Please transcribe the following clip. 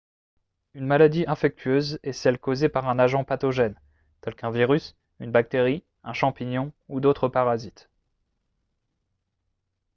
une maladie infectieuse est celle causée par un agent pathogène tel qu'un virus une bactérie un champignon ou d'autres parasites